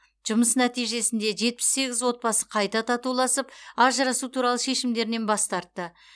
жұмыс нәтижесінде жетпіс сегіз отбасы қайта татуласып ажырасу туралы шешімдерінен бас тартты